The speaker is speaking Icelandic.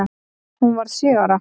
Hún varð sjö ára.